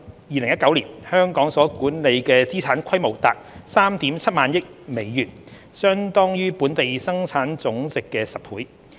2019年，香港所管理的資產規模達 37,000 億美元，相當於本地生產總值的10倍。